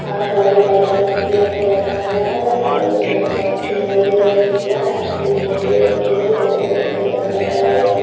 और शायद ये बाल कटवाने के लिए यहाँ पे बैठा हुआ है सामने की तरफ काँच दिखाई दे रहा है शिशा यहाँ पर कुछ बोतले रखी हुई है बोतलों में सफ़ेद रंग का भरा हुआ है कुछ--